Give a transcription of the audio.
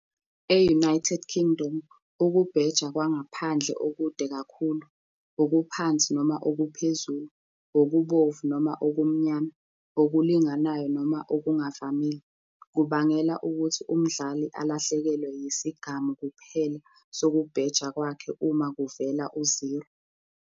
E-United Kingdom, ukubheja kwangaphandle okude kakhulu, okuphansi - okuphezulu, okubomvu - okumnyama, okulinganayo - okungavamile, kubangela ukuthi umdlali alahlekelwe yisigamu kuphela sokubheja kwakhe uma kuvela uziro.